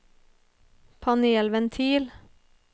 panelventil